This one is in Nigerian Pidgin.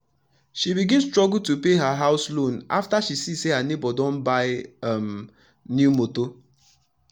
she begin struggle to pay her house loan afta she see say her neighbor don buy um new motor